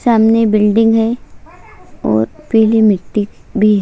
सामने बिल्डिंग है और पिली मिट्टी भी है।--